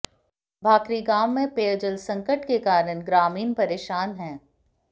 भांकरी गांव में पेयजल संकट के कारण ग्रामीण परेशान हैं